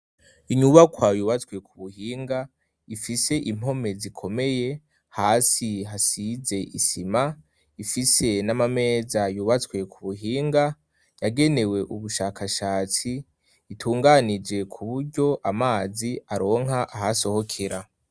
Inyubakwa yubatswe ku buhinga ifise impome zikomeye hasi hasize isima ifise n'amameza yubatswe ku buhinga yagenewe ubushakashatsi itunganije ku buryo amazi aronka ahasohokera.